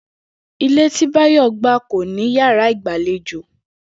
Ilé tí Báyò̩ gbà kò ní yàrá ìgbàlejò